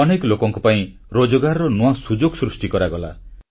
ଅନେକ ଲୋକଙ୍କ ପାଇଁ ରୋଜଗାରର ନୂଆ ସୁଯୋଗ ସୃଷ୍ଟି କରାଗଲା